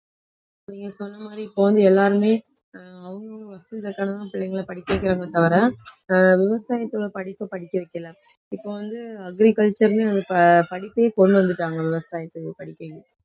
இப்ப நீங்க சொன்ன மாதிரி இப்ப வந்து எல்லாருமே ஆஹ் அவங்க அவங்க வசதிக்கு பிள்ளைங்களை படிக்க வைக்கிறாங்களே தவிர ஆஹ் விவசாயத்தோட படிப்பை படிக்க வைக்கல இப்ப வந்து agriculture ன்னு இப்ப படிப்பையே கொண்டு வந்துட்டாங்க விவசாயத்துக்கு படிப்பையே